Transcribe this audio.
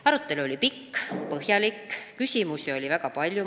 Arutelu oli pikk ja põhjalik, küsimusi oli väga palju.